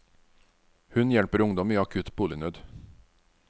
Hun hjelper ungdom i akutt bolignød.